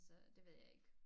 Så det ved jeg ikke